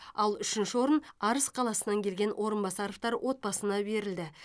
ал үшінші орын арыс қаласынан келген орынбасаровтар отбасына берілді